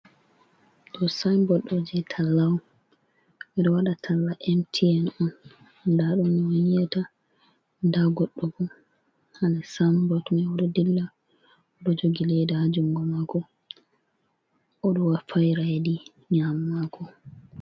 Ɗo Sayin bot ɗo je talla'on, ɓe ɗo waɗa talla MTN on nda ɗum no'onyi'atani, nda Godɗo bo hanon Sayin bot mai ɗon dilla, oɗo jogi leda ha jungo mako oɗo fa'ira hedi Nyamo mako.